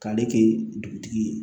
K'ale kɛ dugutigi ye